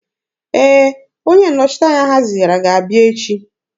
Ee, onye nnọchiteanya ha zigara ga-abịa echi.